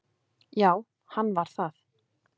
Já, hann var það